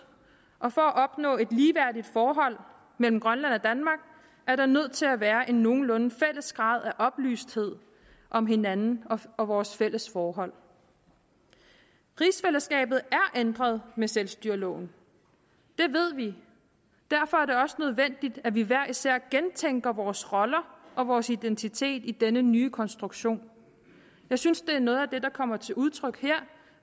og for at opnå et ligeværdigt forhold mellem grønland og danmark er der nødt til at være en nogenlunde fælles grad af oplysthed om hinanden og vores fælles forhold rigsfællesskabet er ændret med selvstyreloven det ved vi derfor er det også nødvendigt at vi hver især gentænker vores roller og vores identitet i denne nye konstruktion jeg synes det er noget af det der kommer til udtryk her